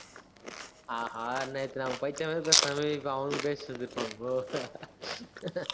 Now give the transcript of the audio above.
ஆஹா, நேத்து நாம படிச்ச மாதிரி பேசின மாதிரி இப்ப அவனுங்க பேசிட்டு இருந்திருப்பாங்களோ